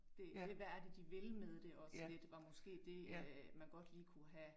Det hvad er det de vil med det også lidt var måske det, man godt lige kunne have